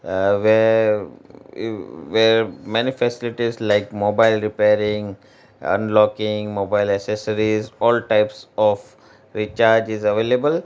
uh where eh where many facilities like mobile repairing unlocking mobile accessories all type of recharge is available.